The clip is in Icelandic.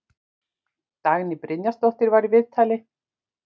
Dagný Brynjarsdóttir var í viðtali.